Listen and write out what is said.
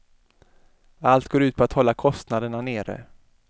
Allt går ut på att hålla kostnaderna nere.